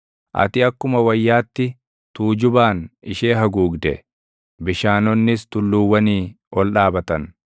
Ati akkuma wayyaatti tuujubaan ishee haguugde; bishaanonnis tulluuwwanii ol dhaabatan.